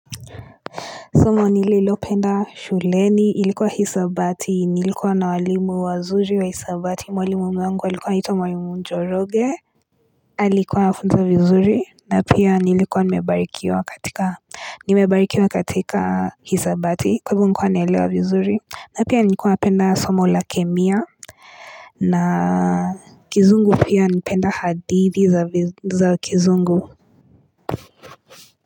Somo nililopenda shuleni ilikuwa hisabati. Nilikuwa na walimu wazuri wa hisabati. Mwalimu wangu alikuwa anaitwa mwalimu Njoroge Alikuwa anafunza vizuri na pia nilikuwa nimebarikiwa katika hisabati kwa hivyo nilikuwa naelewa vizuri na pia nilikuwa napenda somo la Chemia na kizungu pia. Napenda hadithi za kizungu.